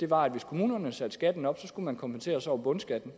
var at hvis kommunerne satte skatten op skulle man kompenseres over bundskatten